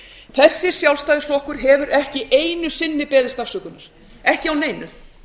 þessi sjálfstæðisflokkur hefur ekki einu sinni beðist afsökunar ekki á neinu